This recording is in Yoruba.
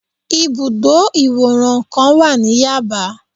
Ibùdó ìwòran kan wà ní Yaba